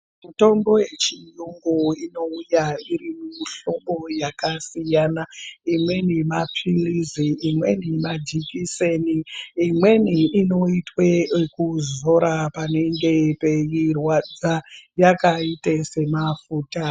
Mitombo yechiyungu inouya iri mumihlobo yakasiyana siyana, imweni mapilizi , imweni majikiseni imweni inoitwe kuzora panenge peirwadza yakaita semafuta.